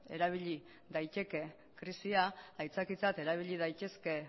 erabili daiteke krisia aitzakiatzat erabili daitezke